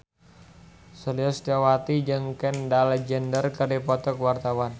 Sulistyowati jeung Kendall Jenner keur dipoto ku wartawan